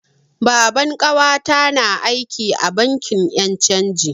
Baban ƙawata na aiki a bankin yan' canji.